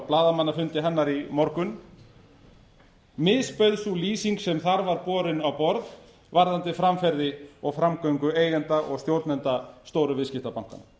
blaðamannafundi hennar í morgun misbauð sú lýsing sem þar var borin á borð varðandi framferði og framgöngu eigenda og stjórnenda stóru viðskiptabankanna